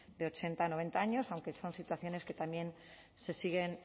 de ochenta noventa años aunque son situaciones que también se siguen